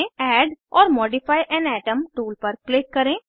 add or modify an atom tool पर click करें